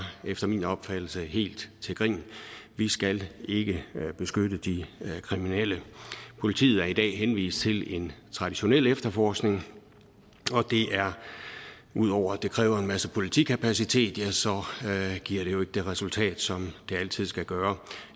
efter min opfattelse helt til grin vi skal ikke beskytte de kriminelle politiet er i dag henvist til en traditionel efterforskning og ud over at det kræver en masse politikapacitet giver det jo ikke det resultat som det altid skal gøre